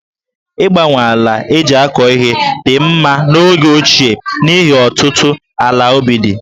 Ịgbanwe ala e ji akọ ihe dị mma n'oge ochie n'ihi ọtụtụ ala ubi dị̀